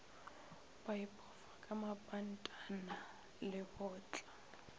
ba ipofa ka mapantana lebotla